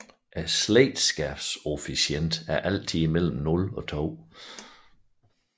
Slægtskabskoefficienten er altid mellem 0 og 2